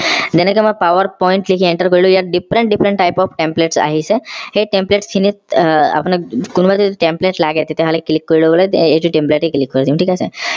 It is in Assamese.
যেনেকৈ মই power point লিখি ইয়াত enter কৰিলো ইয়াত different different type of templates আহিছে সেই template খিনিত আহ আপোনাক কোনোবাই যদি template লাগে তেতিয়া হলে click কৰি লবলে এইটো template এ click কৰি দিম থিক আছে